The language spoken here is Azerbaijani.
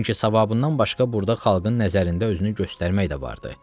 Çünki savabından başqa burda xalqın nəzərində özünü göstərmək də vardır.